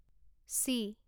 C